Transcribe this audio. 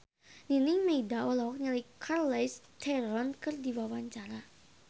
Nining Meida olohok ningali Charlize Theron keur diwawancara